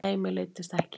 Nei, mér leiddist ekki.